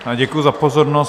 Děkuji za pozornost.